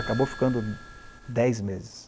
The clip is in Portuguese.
Acabou ficando dez meses.